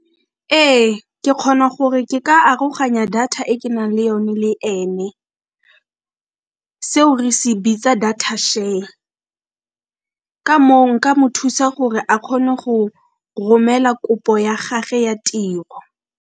Ee, ke kgona gore ke ka aroganya data e ke nang le yone le ene, seo re se bitsa data-share, ka moo nka mo thusa gore a kgone go romela kopo ya gage ya tiro.